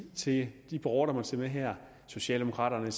til de borgere der måtte se med her socialdemokraterne og